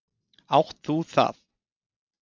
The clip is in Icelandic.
Átt þú það?